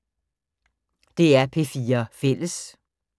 DR P4 Fælles